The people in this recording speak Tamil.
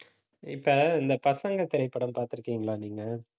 இப்ப, இந்த பசங்க திரைப்படம் பார்த்திருக்கீங்களா